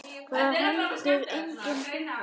Það var heldur engin furða.